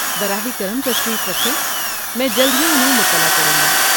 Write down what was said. براہ کرم تشریف رکھیں، میں جلد ہی انہیں مطلع کروں گا۔